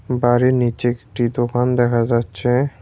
বাড়ির নীচে একটি দোকান দেখা যাচ্ছে।